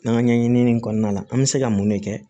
N'an ka ɲɛɲinini kɔnɔna la an bɛ se ka mun de kɛ